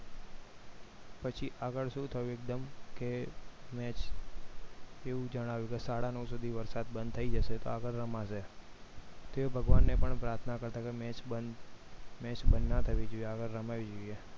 પછી આગળ શું થયું એકદમ કે match એવું જણાવ્યું કે સાડા નવ સુધી વરસાદ બંધ થઈ જશે તો આગળ રમાશે તેઓ ભગવાનને પણ પ્રાર્થના કરતા હતા કે match બંધ ના થવી જોઈએ રમાવી જોઈએ ઠીક છે